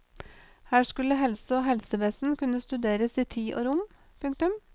Her skulle helse og helsevesen kunne studeres i tid og rom. punktum